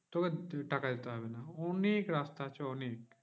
তোকে টাকা দিতে হবে না অনেক রাস্তা আছে অনেক।